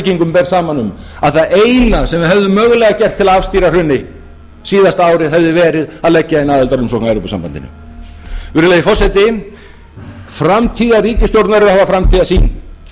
ber saman um að það eina sem við hefðum mögulega getað gert til að afstýra hruni síðasta árið hefði verið að leggja inn aðildarumsókn að evrópusambandinu virðulegi forseti framtíðarríkisstjórn verður að hafa framtíðarsýn